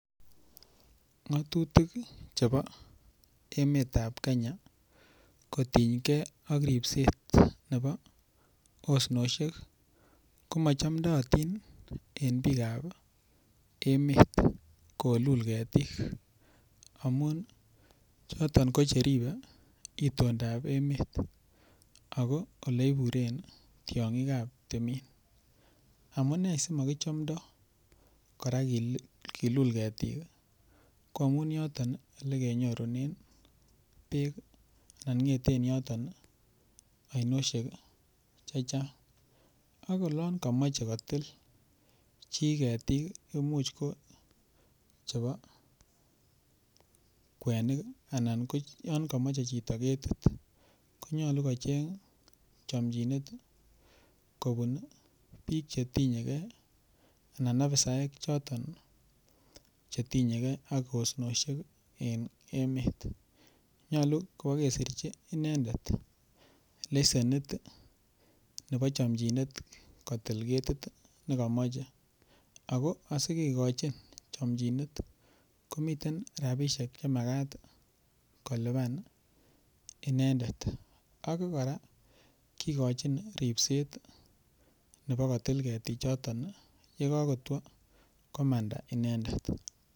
Ng'atutik chebo emetab Kenya kotinygei ak ripset nebo osnoshek komachomdoyotin en biikab emet kolul ketik amun choton kocheriben itondoab emet ako ole iburen tiyong'ikab timin amune simakichomdoi kora kilul ketik ko amun yoton ole kenyorunen beek anan ngeten yotok osnoshek chechang' akolon kemoche kotil chi ketik imuuch ko chebo kwenik anan yon kamochei chito ketit konyolu kocheny chomchinet kobun biik chetinyegei anan ofisaek choton ak osinoshiekab emet nyolu kwo kesirchin inendet lesenit nebo chomchinet kotil letit nekamoche ako asikekochin chomchinet komiten rabishek chemakat kolipan inendet ak kora kikochin ripset nebo kotil ketichoton yekakotwo komanda inendet